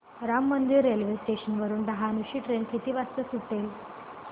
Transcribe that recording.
Ram Mandir railway station वरुन डहाणू ची train किती वाजता सुटेल